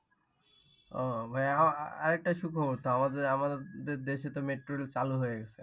ও, ভাইয়া আরেকটা সুখবর তো আমাদের আমাদের দেশে তো metro rail চালু হয়ে গেছে।